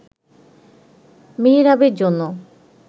মেহেরাবের জন্য